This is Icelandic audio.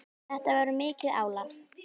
Þetta var mikið álag.